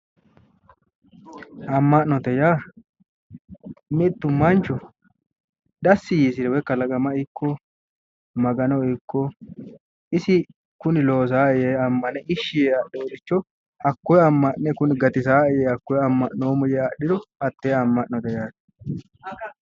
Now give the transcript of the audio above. Ama'note yaa mitu manchu dasi yiisire kalaqama ikko Magano ikko isi kuni loosanoe yee amane ishi yee adhinoricho hakkoe ama'ne kuni gatisanoe yee adhiro hatte ama'note yinneemmo